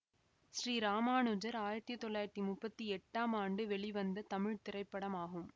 ஸ்ரீ ராமானுஜர் ஆயிரத்தி தொள்ளாயிரத்தி முப்பத்தி எட்டாம் ஆண்டு வெளிவந்த தமிழ் திரைப்படமாகும்